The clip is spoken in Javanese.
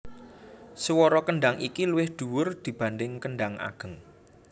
Swara kendhang iki luwih dhuwur dibanding kendhang ageng